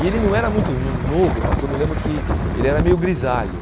E ele não era muito hum novo, porque eu me lembro que ele era meio grisalho.